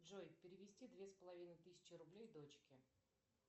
джой перевести две с половиной тысячи рублей дочке